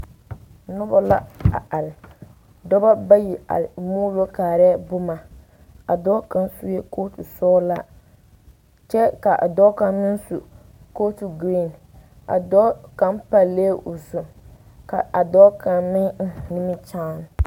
Nona la a are dɔba bayi a buulo kaara boma a dɔɔ kaŋ sue kɔɔtu sɔgelaa kyɛ kaa dɔɔ kaŋ meŋ su kɔɔtu buluu a dɔɔ kaŋ palɛɛ o zu kaa dɔɔ kaŋ meŋ eŋ nimikyaane